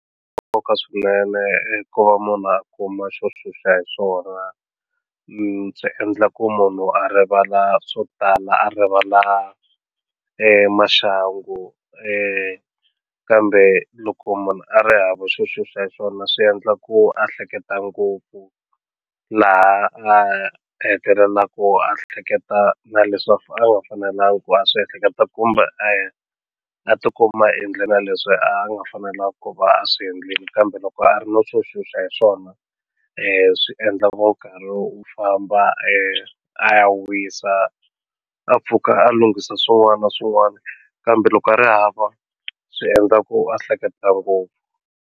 Nkoka swinene ku va munhu a kuma xo xuxa hi swona ndzi endla ku munhu a rivala swo tala a rivala maxangu kambe loko munhu a ri hava xo xuxa hi swona swi endla ku a hleketa ngopfu laha a hetelelaku a hleketa na leswaku a nga fanelangi ku a swi ehleketa kumbe a a ti kuma a endle na leswi a nga fanelangi ku va a swi endlile kambe loko a ri no swo xuxa hi swona swi endla ngopfu u famba a ya wisa a a pfuka a lunghisa swin'wana na swin'wana kambe loko a ri hava swi endla ku a hleketa ngopfu.